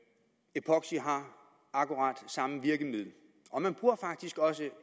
epoxy har akkurat samme virkning og man bruger faktisk også